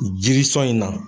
Jiri sɔn in na